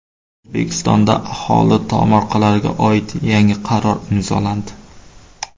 O‘zbekistonda aholi tomorqalariga oid yangi qaror imzolandi.